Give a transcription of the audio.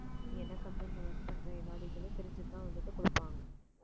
நீ என்ன company ல work பண்ற எல்லா detail உம் தெரிஞ்சிட்டுதான் வந்துட்டு கொடுப்பாங்க